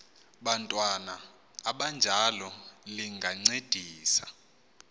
bantwana abanjalo lingancedisa